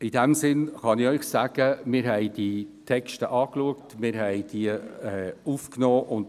In diesem Sinn kann ich Ihnen sagen, dass wir uns die Texte angeschaut und sie aufgenommen haben.